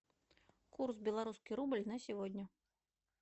курс белорусский рубль на сегодня